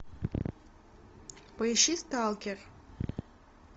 поищи сталкер